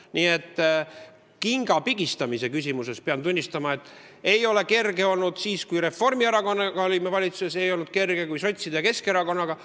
Nii et kinga pigistamise küsimuses pean tunnistama, et ei olnud kerge siis, kui me Reformierakonnaga olime valitsuses, ja ei ole olnud kerge, kui oleme koalitsioonis sotside ja Keskerakonnaga.